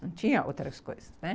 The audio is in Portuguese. Não tinha outras coisas, né?